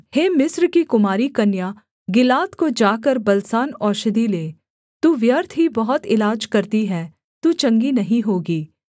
हे मिस्र की कुमारी कन्या गिलाद को जाकर बलसान औषधि ले तू व्यर्थ ही बहुत इलाज करती है तू चंगी नहीं होगी